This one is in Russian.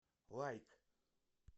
лайк